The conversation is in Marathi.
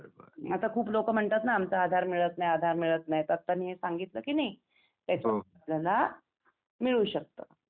आता खूप लोक म्हणतात ना आमचा आधार मिळत नाही आधार मिळत नाही तर आता मी हे सांगितलं कि नाही त्याच्यात आपल्याला मिळू शकत